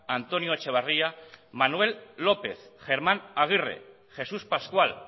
antonio echevarria manuel lópez germán aguirre jesús pascual